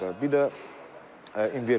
Bir də invertor.